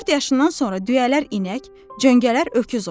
Dörd yaşından sonra düyələr inək, cöngələr öküz olur.